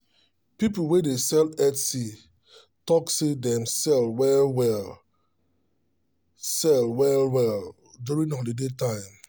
people wey dey sell etsy talk say them sell well them sell well well during that holiday time